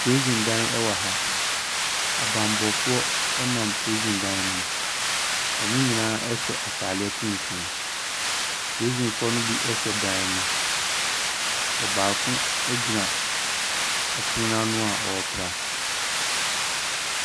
Prison dan wɔ ha. Abanmmɔfoɔ nam prison dan mu. Wɔn nyinaa hyɛ ataareɛ tuntum. Prisonfoɔ no bi hyɛ dan mu. Ɔbaako gyina ɛpono ano a ɔrepra.